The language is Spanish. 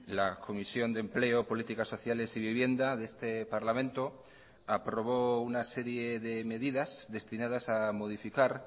la comisión de empleo políticas sociales y vivienda de este parlamento aprobó una serie de medidas destinadas a modificar